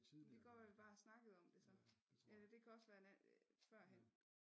Det kan godt være vi bare har snakket om det så eller det kan også være en førhen